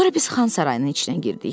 Sonra biz Xan sarayının içinə girdik.